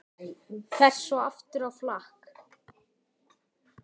Fer svo aftur á flakk.